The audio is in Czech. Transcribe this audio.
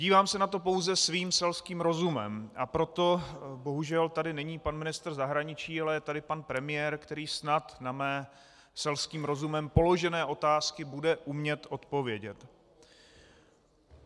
Dívám se na to pouze svým selským rozumem, a proto - bohužel tady není pan ministr zahraničí, ale je tady pan premiér, který snad na mé selským rozumem položené otázky bude umět odpovědět.